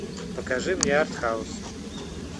покажи мне артхаус